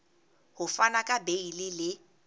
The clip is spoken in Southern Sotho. ho fana ka beile le